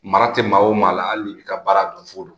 Mara tɛ maa o maa la hali n'i b'i ka baara dɔn fu don